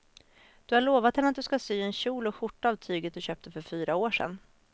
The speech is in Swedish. Du har lovat henne att du ska sy en kjol och skjorta av tyget du köpte för fyra år sedan.